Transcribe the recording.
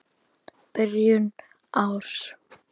Byrjun árs.